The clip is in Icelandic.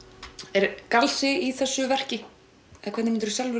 er galsi í þessu verki eða hvernig myndirðu